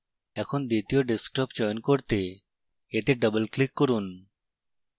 এখন দ্বিতীয় desktop চয়ন করতে এতে double ক্লিক করুন